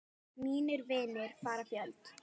Mínir vinir fara fjöld